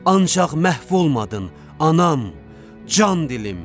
Ancaq məhv olmadın, anam, can dilim.